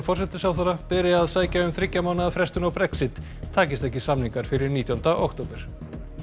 forsætisráðherra beri að sækja um þriggja mánaða frestun á Brexit takist ekki samningar fyrir nítjánda október